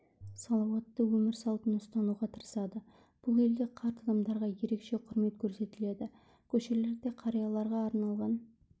салауатты өмір салтын ұстануға тырысады бұл елде қарт адамдарға ерекше құрмет көрсетіледі көшелерде қарияларға арналған